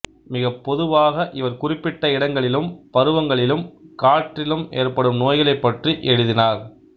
மிகப் பொதுவாக இவர் குறிப்பிட்ட இடங்களிலும் பருவங்களிலும்காற்ரிலும் ஏற்படும் நோய்களைப் பற்றி எழுதினார்